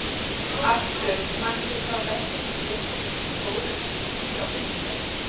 Arthur, manstu hvað verslunin hét sem við fórum í á fimmtudaginn?